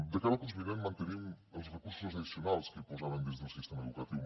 de cara al curs vinent mantenim els recursos addicionals que hi posàrem dins del sistema educatiu